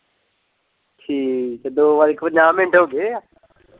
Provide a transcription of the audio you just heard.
ਠੀਕ ਏ ਦੋ ਵੱਜ ਕੇ ਪੰਜਾਹ ਮਿੰਟ ਹੋ ਗਏ ਏ।